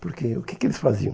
Porque o que que eles faziam?